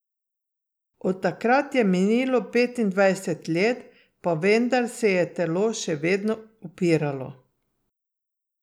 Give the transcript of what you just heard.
Od takrat je minilo petindvajset let, pa vendar se je telo še vedno upiralo.